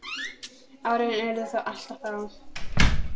Árin urðu þó alltof fá.